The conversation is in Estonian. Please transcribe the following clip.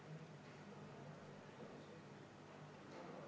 Aitäh, härra esimees!